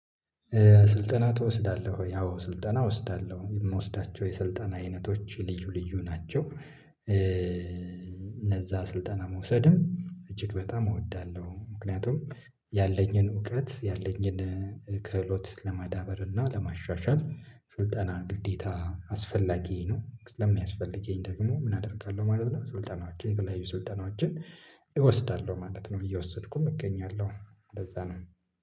ስልጠና ትወስዳለሁ አዎ ስልጠና እወስዳለሁ የምወስዳቸው የሰልጣን አይነቶች ልዩ ልዩ ናቸው እነዛ ስልጠና መውሰድም እጅግ በጣም እወዳለሁ። ምክንያቱም ያለኝን እውቀት ያለኝን ከህሎት ለማዳበር እና ለማሻሻል። ስልጠና ግዴታ አስፈላጊ ነው። ስለሚያስፈልገኝ ደግሞ ምን አደርጋለሁ ማለት ነው። ስልጠናዎችን የቅላይ ሱልጠናዎችን እወስዳለሁ ማለት ነው። እየወሰድኩኝ እገኛለሁ እንደዛ ነው